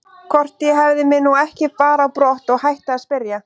Hvort ég hefði mig nú ekki bara á brott og hætti að spyrja.